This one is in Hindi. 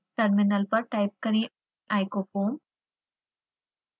टर्मिनल पर टाइप करें icofoam